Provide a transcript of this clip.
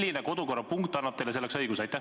Milline kodukorrapunkt annab teile selleks õiguse?